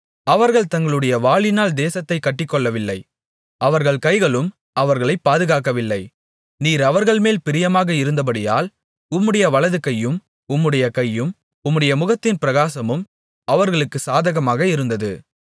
அவர்கள் தங்களுடைய வாளினால் தேசத்தைக் கட்டிக்கொள்ளவில்லை அவர்கள் கைகளும் அவர்களைப் பாதுகாக்கவில்லை நீர் அவர்கள்மேல் பிரியமாக இருந்தபடியால் உம்முடைய வலதுகையும் உம்முடைய கையும் உம்முடைய முகத்தின் பிரகாசமும் அவர்களுக்குச் சாதகமாக இருந்தது